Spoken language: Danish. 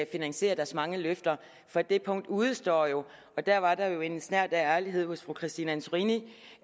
finansiere deres mange løfter for det punkt udestår jo der var der jo en snert af ærlighed hos fru christine antorini